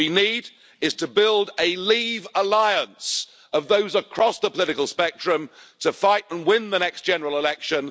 And what we need is to build a Leave alliance', of people across the political spectrum, to fight and win the next general election.